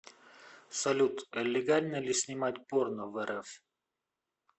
салют легально ли снимать порно в рф